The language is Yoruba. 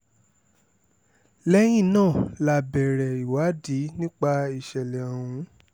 lẹ́yìn náà la bẹ̀rẹ̀ ìwádìí nípa ìṣẹ̀lẹ̀ ọ̀hún